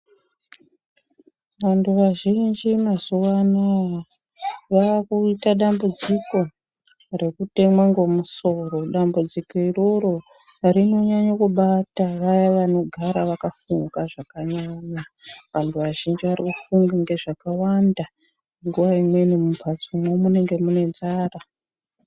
Vantu vazhinji mazuvano vakuita dambudziko rekutemwa ngemusoro dambudziko iroro rinonyanya kubata vaya vanogara vakafunga zvakanyanya vantu vazhinji varikufunga ngezvakawanda nguva iyoyo mumhatso munonga muine nzara .